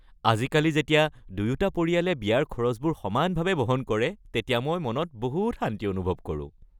আজিকালি যেতিয়া দুয়োটা পৰিয়ালে বিয়াৰ খৰচবোৰ সমানভাৱে বহন কৰে তেতিয়া মই মনত বহুত শান্তি অনুভৱ কৰোঁ।